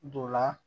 Don la